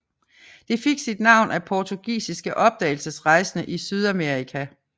Det fik sit navn af portugisiske opdagelsesrejsende i Sydamerika